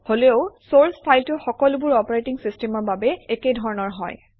হলেও চৰ্চ ফাইলটো সকলোবোৰ অপাৰেটিং চিষ্টেমৰ বাবে একে ধৰণৰ হয়